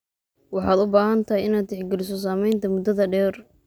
Waxaad u baahan tahay inaad tixgeliso saamaynta muddada-dheer.